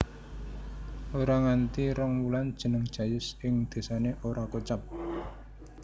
Ora nganti rong wulan jeneng Jayus ing désane ora kocap